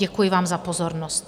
Děkuji vám za pozornost.